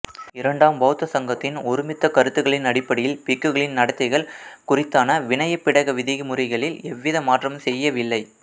இரண்டாம் பௌத்த சங்கத்தின் ஒருமித்த கருத்துக்களின் அடிப்படையில் பிக்குகளின் நடத்தைகள் குறித்தான விநயபிடக விதிமுறைகளில் எவ்வித மாற்றங்களும் செய்யவில்லை